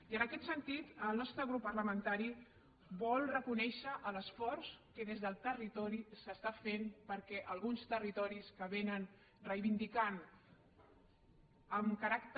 i en aquest sentit el nostre grup parlamentari vol reconèixer l’esforç que des del territori s’està fent perquè alguns territoris que han reivindicat amb caràcter